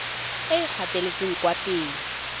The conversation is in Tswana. e e gatetseng kwa pele